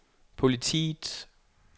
politiets